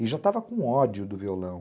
E já estava com ódio do violão.